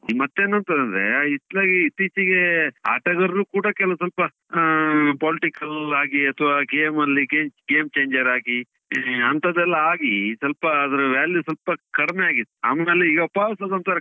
ಮತ್ತೆ ಏನುಂತ ಅಂದ್ರೇ, ಇತ್ಲಾಗಿ ಇತ್ತೀಚಿಗೆ ಆಟಗಾರ್ರು ಕೂಡ ಕೆಲವ್ ಸ್ವಲ್ಪ, ಆ politics ಅಲ್ಲಿ ಹಾಗೆ ಅಥವಾ game ಅಲ್ಲಿ game changer ಆಗಿ, ಆ ಅಂತದೆಲ್ಲ ಆಗಿ ಸ್ವಲ್ಪ ಅದ್ರ value ಸ್ವಲ್ಪ ಕಡಿಮೆ ಆಗಿತ್ತು. ಆಮೇಲ್ ಈಗ ಒಂತರ,